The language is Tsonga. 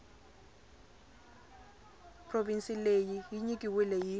provhinsi leyi yi nyikiweke hi